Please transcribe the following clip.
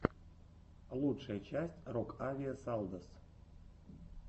лучшая часть рокавиэсалдос